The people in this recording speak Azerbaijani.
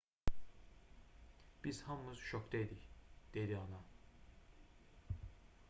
biz hamımız şokda idik dedi ana